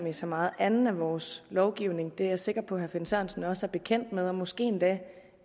i så meget anden af vores lovgivning og det er jeg sikker på at herre finn sørensen også er bekendt med og måske endda